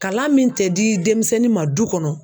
Kalan min tɛ di demisɛnnin ma du kɔnɔ